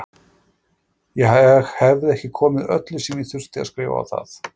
Ég hefði ekki komið öllu sem ég þurfti að skrifa á það.